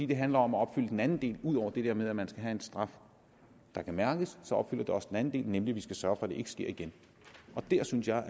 det handler om at opfylde den anden del ud over det der med at man skal have en straf der kan mærkes nemlig at vi skal sørge for at det ikke sker igen der synes jeg